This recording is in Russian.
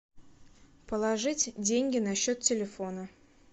положить деньги на счет телефона